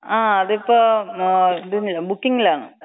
ആ അത് ഇപ്പൊ ബുക്കിങ്ങിലാണ്.